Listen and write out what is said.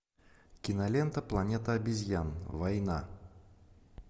кинолента планета обезьян война